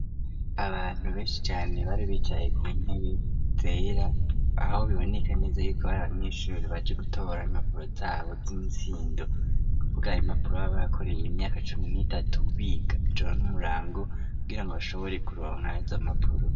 Abantu benshi cane bari bicaye ku ntebe zera .Aho biboneka neza yuko bari abanyeshuri baje gutora impapuro zabo zumutsindo kuvuga impapuro babakoreye imyaka cumi n'itatu biga ijoro nu murango kubgira ngo bashobore kuronka izampapuro.